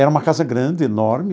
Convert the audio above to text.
Era uma casa grande, enorme.